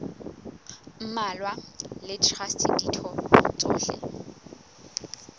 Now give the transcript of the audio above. mmalwa le traste ditho tsohle